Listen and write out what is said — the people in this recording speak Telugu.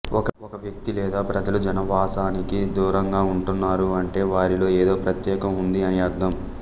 ఒక వ్యక్తి లేదా ప్రజలు జనావాసానికి దూరంగా ఉంటున్నారు అంటే వారిలో ఎదో ప్రత్యేకం ఉంది అని అర్ధం